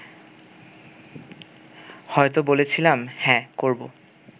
হয়তো বলেছিলাম হ্যাঁ করব